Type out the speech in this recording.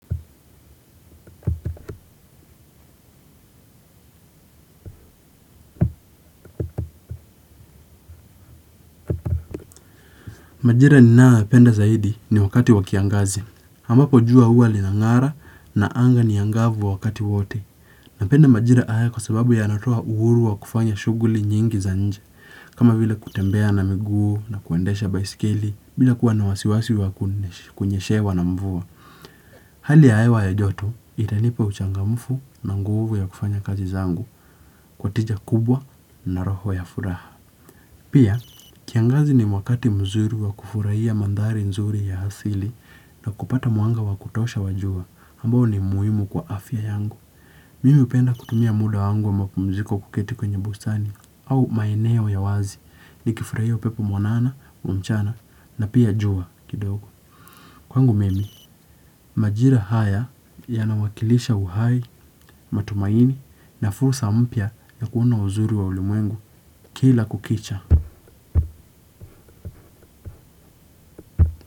Majira ninayo yapenda zaidi ni wakati wa kiangazi. Ambapo jua hua linang'ara na anga ni angavu wakati wote. Napenda majira haya kwa sababu yanatoa uhuru wa kufanya shughuli nyingi za nnje. Kama vile kutembea na miguu na kuendesha baisikili. Bila kuwa na wasiwasi wa kunyeshewa na mvua. Hali ya hewa ya joto, itanipa uchangamfu na nguvu ya kufanya kazi zangu, kwa tija kubwa na roho ya furaha. Pia, kiangazi ni mwakati mzuri wa kufurahia mandhari nzuri ya asili na kupata mwanga wa kutosha wa jua, ambao ni muhimu kwa afya yangu. Mimi upenda kutumia muda wangu wa mapumziko kuketi kwenye bustani au maeneo ya wazi nikifurahia upepo mwanana wa mchana na pia jua kidogo. Kwangu mimi, majira haya yanawakilisha uhai, matumaini na fursa mpya ya kuona uzuri wa ulimwengu kila kukicha.